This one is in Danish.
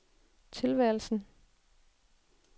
tilværelsen